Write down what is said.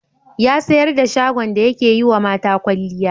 Ya sayar da shagon da yake yiwa mata kwalliya.